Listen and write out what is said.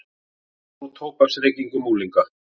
Dregur úr tóbaksreykingum unglinga